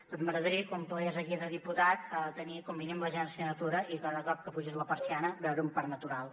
doncs m’agradaria quan plegués aquí de diputat tenir com a mínim l’agència de la natura i cada cop que apugés la persiana veure un parc natural